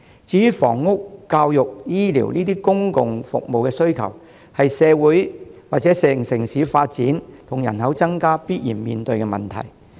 至於房屋、教育、醫療這些公共服務需求，是城市發展和人口增加必然面對的問題。